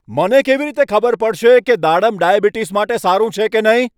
મને કેવી રીતે ખબર પડશે કે દાડમ ડાયાબિટીસ માટે સારું છે કે નહીં?